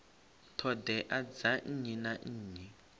ṱhoḓea dza nnyi na nnyi